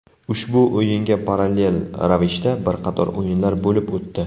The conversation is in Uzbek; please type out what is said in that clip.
Ushbu o‘yinga parallel ravishda bir qator o‘yinlar bo‘lib o‘tdi.